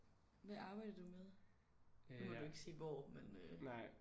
Hvad arbejder du med? Nu må du ikke sige hvor men øh